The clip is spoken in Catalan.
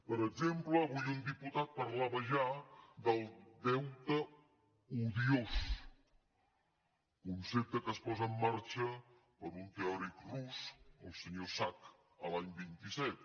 per exemple avui un diputat parlava ja del deute odiós concepte que es posa en marxa per un teòric rus el senyor sack l’any vint set